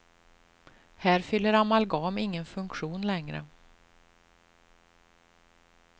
Här fyller amalgam ingen funktion längre.